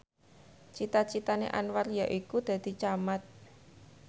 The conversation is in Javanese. cita citane Anwar yaiku dadi camat